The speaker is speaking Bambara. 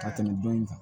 Ka tɛmɛ dɔ in kan